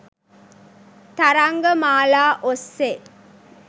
තරංග මාලා ඔස්සේ